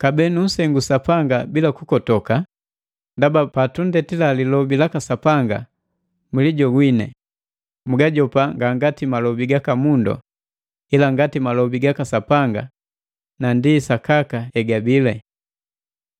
Kabee tunsengu Sapanga bila kukotoka ndaba patundetila lilobi laka Sapanga, mwilijogwini, muujopa nga ngati malobi gaka mundu ila ngati malobi gaka Sapanga na ndi sakaka hegabile.